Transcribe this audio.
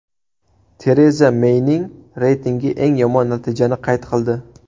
Tereza Meyning reytingi eng yomon natijani qayd qildi.